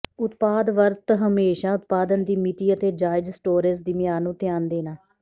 ਉਤਪਾਦ ਵਰਤ ਹਮੇਸ਼ਾ ਉਤਪਾਦਨ ਦੀ ਮਿਤੀ ਅਤੇ ਜਾਇਜ਼ ਸਟੋਰੇਜ਼ ਦੀ ਮਿਆਦ ਨੂੰ ਧਿਆਨ ਦੇਣਾ